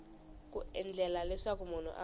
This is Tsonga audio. ku endlela leswaku munhu a